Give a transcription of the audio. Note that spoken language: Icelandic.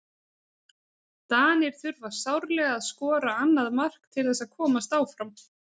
Danir þurfa sárlega að skora annað mark til þess að komast áfram.